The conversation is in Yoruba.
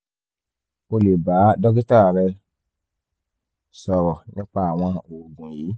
o lè bá dókítà rẹ sọ̀rọ̀ nípa àwọn oògùn yìí